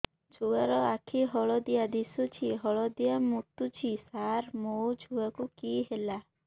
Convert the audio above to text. ଛୁଆ ର ଆଖି ହଳଦିଆ ଦିଶୁଛି ହଳଦିଆ ମୁତୁଛି ସାର ମୋ ଛୁଆକୁ କି ହେଲା